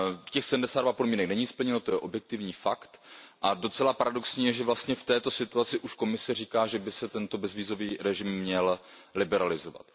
Těch sedmdesát dva podmínek není splněno, to je objektivní fakt a docela paradoxní je, že vlastně v této situaci už Komise říká, že by se tento bezvízový režim měl liberalizovat.